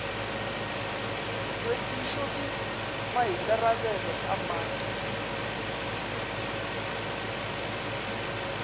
hlwekišo ke maikarabelo a mang